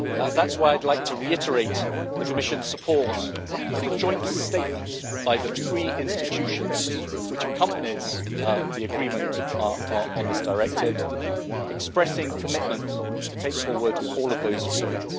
That is why I would like to reiterate the Commission's support for the joint statement by the three EU institutions which accompanies the agreement on this directive, expressing commitment to take forward action in all of those fields.